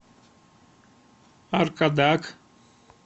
аркадак